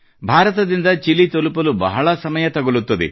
ಭಾರತದಿಂದ ಚಿಲಿ ತಲುಪಲು ಬಹಳ ಸಮಯ ತಗುಲುತ್ತದೆ